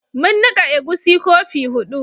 Mun nika egusi kofi hudu